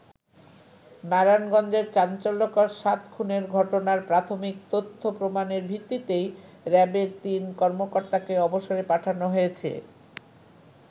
নারায়ণগঞ্জের চাঞ্চল্যকর সাত খুনের ঘটনার প্রাথমিক তথ্য-প্রমাণের ভিত্তিতেই র‍্যাবের তিন কর্মকর্তাকে অবসরে পাঠানো হয়েছে।